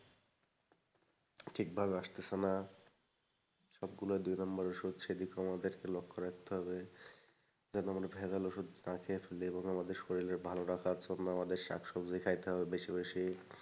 ঠিক ভাবে আসতাছে না। সবগুলো দুই নম্বর ওষুধ সেই দিকেও আমাদেরকে লক্ষ্য রাখতে হবে যেন আমরা ভেজাল ওষুধ না খেয়ে যেগুলো আমাদের শরীরের ভালো রাখার জন্য আমাদের শাকসবজি খাইতে হবে বেশি বেশি,